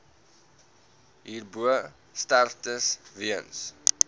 hierbo sterftes weens